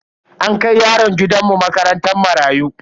An kai yaron gidan mu makarantar marayu.